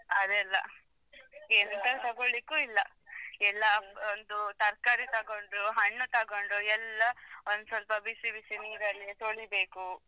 ಅದೆಲ್ಲಾ ಎಂತ ತಗೊಳ್ಲಿಕ್ಕೂ ಇಲ್ಲಾ ಎಲ್ಲಾ ಒಂದು ತರ್ಕಾರಿ ತಗೊಂಡ್ರು ಹಣ್ಣು ತಗೊಂಡ್ರು ಎಲ್ಲಾ ಒಂದ್ ಸ್ವಲ್ಪ ಬಿಸಿ ಬಿಸಿ ನೀರಲ್ಲಿ ತೋಳಿಬೇಕು.